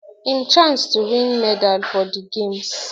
im chance to win medal for di games